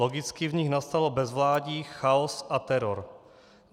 Logicky v nich nastalo bezvládí, chaos a teror.